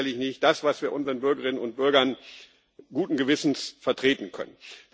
Das ist sicherlich nicht das, was wir vor unseren Bürgerinnen und Bürgern guten Gewissens vertreten können.